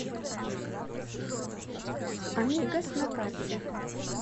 амигос на карте